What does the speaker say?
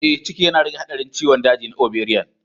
Ee, ciki yana rage haɗarin ciwon daji na ovarian.